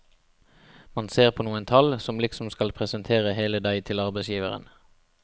Man ser på noen tall, som liksom skal presentere hele deg til arbeidsgiveren.